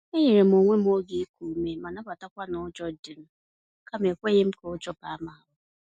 E nyerem onwe m oge iku ume ma nabatakwa n'ụjọ dịm, kama ekweghịm ka ụjọ baa m ahụ